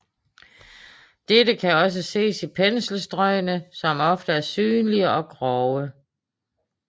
Dette kan også ses i penselstrøgene som ofte er synlige og grove